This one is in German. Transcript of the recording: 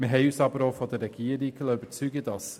Wir liessen uns aber auch von der Regierung überzeugen: